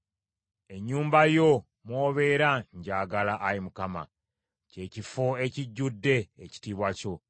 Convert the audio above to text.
Ennyumba yo mw’obeera njagala, Ayi Mukama , kye kifo ekijjudde ekitiibwa kyo.